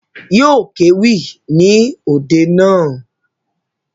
Yóò kéwì ní òde naa